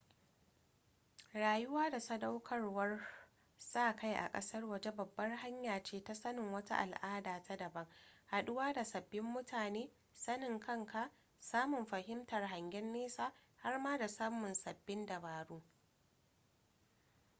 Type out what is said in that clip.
rayuwa da sadaukarwar sa-kai a ƙasar waje babbar hanya ce ta sanin wata al'ada ta daban haɗuwa da sabbin mutane sanin kanka samun fahimtar hangen nesa har ma da samun sabbin dabaru